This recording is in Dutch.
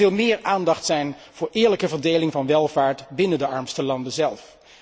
Er moet veel meer aandacht zijn voor de eerlijke verdeling van welvaart binnen de armste landen zelf.